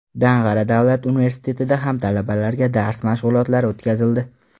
Dang‘ara davlat universitetida ham talabalarga dars mashg‘ulotlari o‘tkazildi.